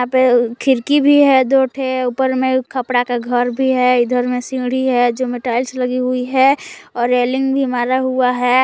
पे खिड़की भी है दो ठो ऊपर में खपड़ा का घर भी है इधर में सीढ़ी है जो में टाइल्स लगी हुई है और रेलिंग भी मारा हुआ है।